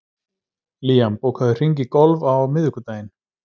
Liam, bókaðu hring í golf á miðvikudaginn.